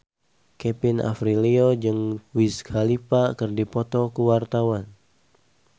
Kevin Aprilio jeung Wiz Khalifa keur dipoto ku wartawan